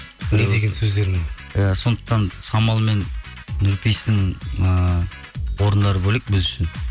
не деген сөздер мынау иә сондықтан самал мен нұрпейістің ыыы орындары бөлек біз үшін